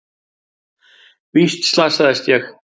Víst slasaðist ég.